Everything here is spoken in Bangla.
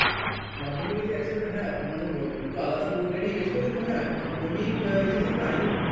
মাধ্যমিক HS একসাথে হ্যাঁ মানে দুটো আলাদা board ই ছিলো কিন্তু হ্যাঁ মাধ্যমিক HS time period একই